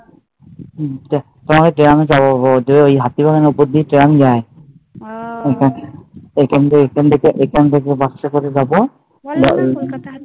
তালে ট্রামে যাবো। ঐ হাতিবাগানের ওপর দিয়ে ট্রাম যায়। ঐখান থেকে ঐখান থেকে বাস টা করে যাবো